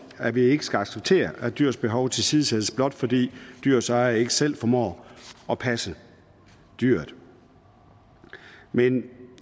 at vi ikke skal acceptere at dyrs behov tilsidesættes blot fordi dyrets ejer ikke selv formår at passe dyret men